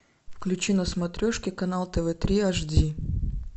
включи на смотрешке канал тв три аш ди